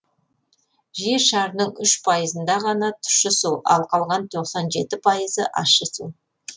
жер шарының үш пайызында ғана тұщы су ал қалған тоқсан жеті пайызы ащы су